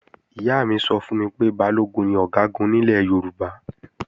Ìyá mi sọ fún mi pé Balógun ni Ọ̀gágun nílẹ̀ Yorùbá